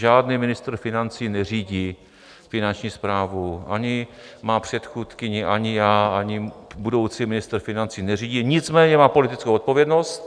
Žádný ministr financí neřídí Finanční správu, ani má předchůdkyně, ani já, ani budoucí ministr financí neřídí, nicméně má politickou odpovědnost.